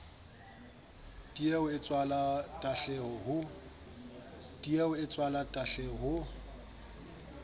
tieho e tswala tahleho ho